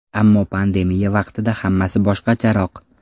Ammo pandemiya vaqtida hammasi boshqacharoq.